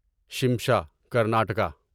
شمشا Karnataka